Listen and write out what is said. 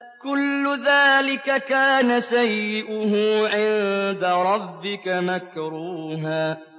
كُلُّ ذَٰلِكَ كَانَ سَيِّئُهُ عِندَ رَبِّكَ مَكْرُوهًا